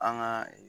An ka